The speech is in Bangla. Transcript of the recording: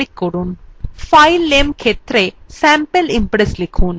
file name ক্ষেত্রে sample impress লিখুন